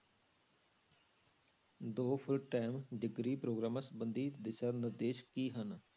ਦੋ full time degree ਪ੍ਰੋਗਰਾਮਾਂ ਸੰਬੰਧੀ ਦਿਸ਼ਾ ਨਿਰਦੇਸ਼ ਕੀ ਹਨ?